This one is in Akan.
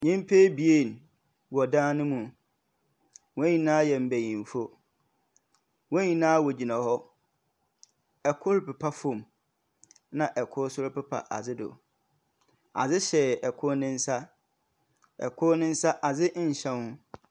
Nnyimpa abien wɔɔ dan no mu. Wɔn nyinaa yɛ mbenyimfo. Wɔn nyinaa wɔgyina hɔ. Kor pepa fam. Na kor nso repepa adze do. Adze hyɛ kor ne nsa. Kor ne nsa adze nhyɛ ho.